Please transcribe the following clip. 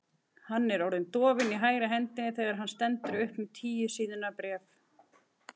Hann er orðinn dofinn í hægri hendinni þegar hann stendur upp með tíu síðna bréf.